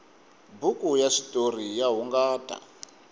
buku ya switoriya hungata